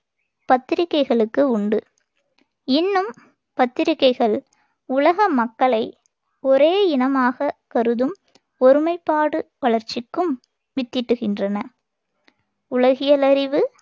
பத்திரிகைகளுக்கு உண்டு இன்னும் பத்திரிக்கைகள் உலக மக்களை ஒரே இனமாகக் கருதும் ஒருமைப்பாடு வளர்ச்சிக்கும் வித்திட்டுகின்றன உலகியல‌றிவு,